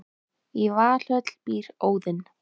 í valhöll býr óðinn